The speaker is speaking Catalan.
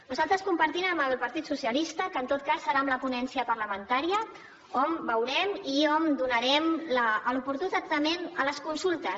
nosaltres compartim amb el partit dels socialistes que en tot cas serà en la ponència parlamentària on veurem i on donarem l’oportú tractament a les consultes